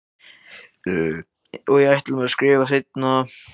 Og ég ætla mér að skrifa seinna.